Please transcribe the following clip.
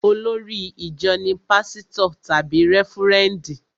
Olórí ìjọ ní pásítọ̀ tàbí rẹ́fúrẹ́ndì